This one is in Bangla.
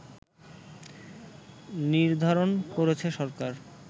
নির্ধারণ করেছে সরকার